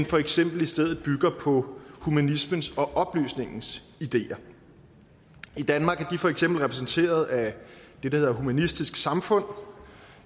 for eksempel i stedet bygger på humanismens og oplysningens ideer i danmark er de for eksempel repræsenteret af det der hedder humanistisk samfund